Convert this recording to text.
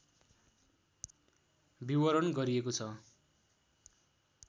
विवरण गरिएको छ